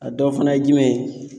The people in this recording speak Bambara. A dɔ fana ye jumɛn ye.